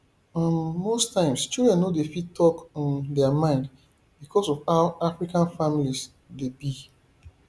um most times children no dey fit talk um their mind because of how african families dey be